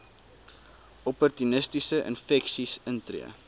opportunistiese infeksies intree